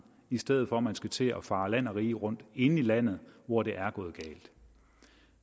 i stedet for at man skal til at fare land og rige rundt inde i landet hvor det er gået galt